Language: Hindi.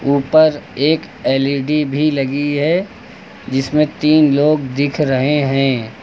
ऊपर एक एल_इ_डी भी लगी है जिसमें तीन लोग दिख रहे हैं।